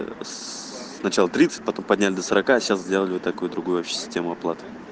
сначала тридцать потом подняли до сорока сейчас сделали такую вообще другую систему оплаты